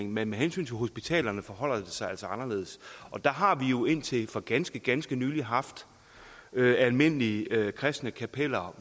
men med hensyn til hospitalerne forholder det sig altså anderledes der har vi jo indtil for ganske ganske nylig haft almindelige kristne kapeller